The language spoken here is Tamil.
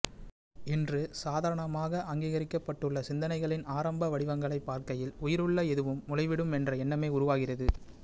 இன்று சாதாரணமாக அங்கீகரிக்கப்பட்டுள்ள சிந்தனைகளின் ஆரம்ப வடிவங்களைப் பார்க்கையில் உயிருள்ள எதுவும் முளைவிடும் என்ற எண்ணமே உருவாகிறது